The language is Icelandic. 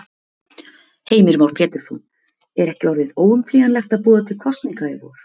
Heimir Már Pétursson: Er ekki orðið óumflýjanlegt að boða til kosninga í vor?